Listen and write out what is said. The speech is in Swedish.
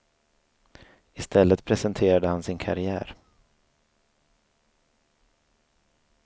I stället presenterade han sin karriär.